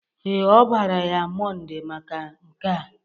Ee, ọ bara ya Mọnde maka nke a.